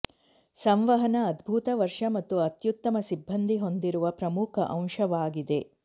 ಸಂವಹನ ಅದ್ಭುತ ವರ್ಷ ಮತ್ತು ಅತ್ಯುತ್ತಮ ಸಿಬ್ಬಂದಿ ಹೊಂದಿರುವ ಪ್ರಮುಖ ಅಂಶವಾಗಿದೆ